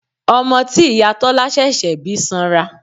Ọmọ tí ìyá Tọ́lá ṣẹ̀ṣẹ̀ bí sanra.